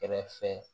Kɛrɛfɛ